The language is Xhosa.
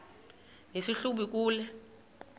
nesi hlubi kule